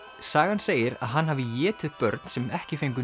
sagan segir að hann hafi étið börn sem ekki fengu